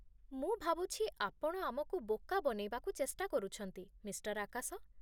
ମୁଁ ଭାବୁଛି, ଆପଣ ଆମକୁ ବୋକା ବନେଇବାକୁ ଚେଷ୍ଟା କରୁଛନ୍ତି, ମିଃ. ଆକାଶ